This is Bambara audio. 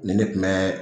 Nin ne kun bɛ